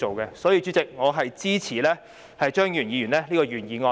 所以，代理主席，我支持張宇人議員的原議案。